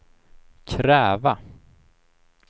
kräva